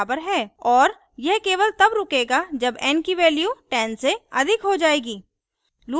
और यह केवल तब रुकेगा जब n की value 10 से अधिक हो जाएगी